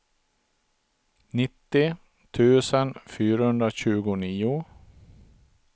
nittio tusen fyrahundratjugonio